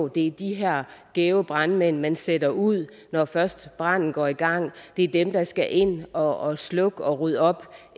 det er de her gæve brandmænd man sender ud når først branden går i gang det er dem der skal ind og slukke og rydde op